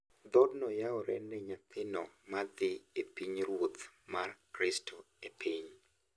Dhoodno yawore ne nyathino ma dhi e pinyruoth mar Kristo e piny;